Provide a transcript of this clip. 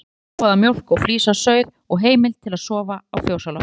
Fær flóaða mjólk og flís af sauð og heimild til að sofa á fjósloftinu.